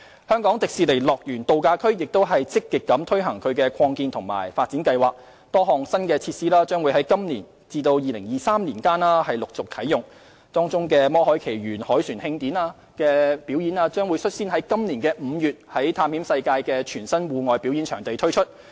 香港迪士尼樂園度假區亦正積極推行擴建及發展計劃，多項新設施將在今年至2023年期間陸續啟用，當中"魔海奇緣凱旋慶典"舞台表演將率先於今年5月在探險世界的全新戶外表演場地推出。